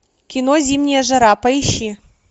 кино зимняя жара поищи